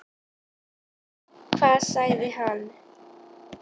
Hvað sagði hann?